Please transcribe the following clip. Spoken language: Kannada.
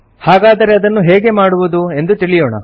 ಹಾಗಾದರೆ ಅದನ್ನು ಹೇಗೆ ಮಾಡುವುದು ಎಂದು ತಿಳಿಯೋಣ